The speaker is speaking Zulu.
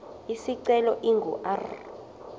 isicelo ingu r